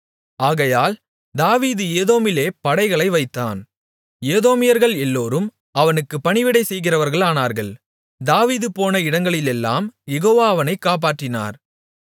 ஆகையால் தாவீது ஏதோமிலே படைகளை வைத்தான் ஏதோமியர்கள் எல்லோரும் அவனுக்குப் பணிவிடை செய்கிறவர்களானார்கள் தாவீது போன இடங்களிலெல்லாம் யெகோவா அவனைக் காப்பாற்றினார்